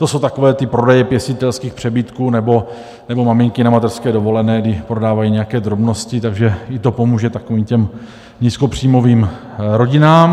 To jsou takové ty prodeje pěstitelských přebytků nebo maminky na mateřské dovolené, kdy prodávají nějaké drobnosti, takže i to pomůže takovým těm nízkopříjmovým rodinám.